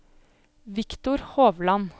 Victor Hovland